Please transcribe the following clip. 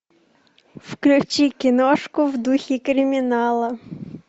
включи киношку в духе криминала